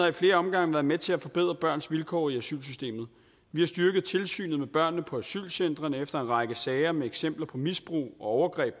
i flere omgange været med til at forbedre børns vilkår i asylsystemet vi har styrket tilsynet med børnene på asylcentrene efter en række sager om misbrug og overgreb